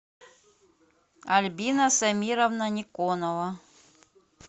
альбина самировна никонова